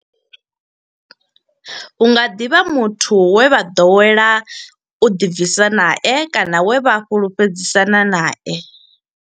Hu nga ḓi vha muthu we vha ḓowela u ḓibvisa nae kana we vha fhulufhedzisana nae.